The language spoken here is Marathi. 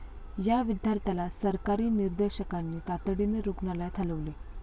या विद्यार्थ्याला सहकारी निदर्शकांनी तातडीने रूग्णालयात हालवले.